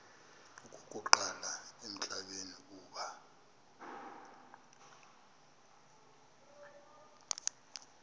okokuqala emhlabeni uba